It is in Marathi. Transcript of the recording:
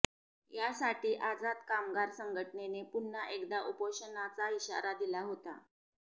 यासाठी आझाद कामगार संघटनेने पुन्हा एकदा उपोषणाचा इशारा दिला होता